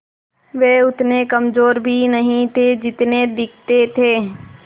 वे उतने कमज़ोर भी नहीं थे जितने दिखते थे